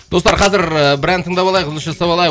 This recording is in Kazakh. достар қазір ы бір ән тыңдап алайық үзіліс жасап алайық